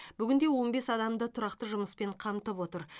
бүгінде он бес адамды тұрақты жұмыспен қамтып отыр